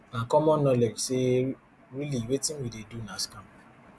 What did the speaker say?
na common knowledge say really wetin we dey do na scam